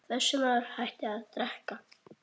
Þessi maður hætti að drekka.